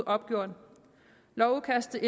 opgjort lovudkastet